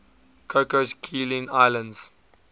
cocos keeling islands